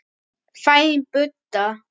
Fæðing Búdda.